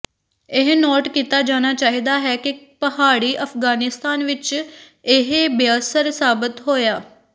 ਇਹ ਨੋਟ ਕੀਤਾ ਜਾਣਾ ਚਾਹੀਦਾ ਹੈ ਕਿ ਪਹਾੜੀ ਅਫਗਾਨਿਸਤਾਨ ਵਿਚ ਇਹ ਬੇਅਸਰ ਸਾਬਤ ਹੋਇਆ